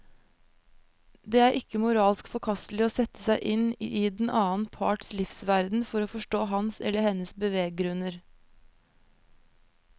Det er ikke moralsk forkastelig å sette seg inn i den annen parts livsverden for å forstå hans eller hennes beveggrunner.